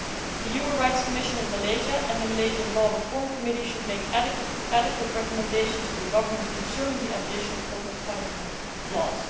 The Human Rights Commission of Malaysia and the Malaysian Law Reform Committee should make adequate recommendations to the government concerning the abolition of corporal punishment laws.